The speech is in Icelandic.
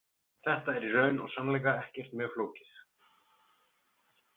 Þetta er í raun og sannleika ekkert mjög flókið.